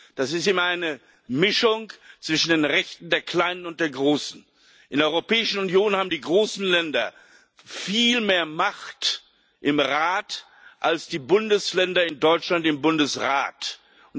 Das ist immer eine Mischung zwischen den Rechten der Kleinen und der Großen. In der Europäischen Union haben die großen Länder viel mehr Macht im Rat als die Bundesländer in Deutschland im Bundesrat haben.